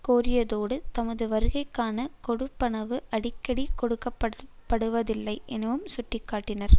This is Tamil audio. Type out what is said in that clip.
கோரியதோடு தமது வருகைக்கான கொடுப்பணவு அடிக்கடி கொடுக்கப்படுவதில்லை எனவும் சுட்டி காட்டினர்